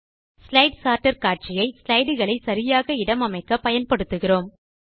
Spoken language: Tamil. ஸ்லைடு சோர்ட்டர் காட்சி ஐ ஸ்லைடு களை சரியாக இடம் அமைக்க பயன்படுத்துகிறோம்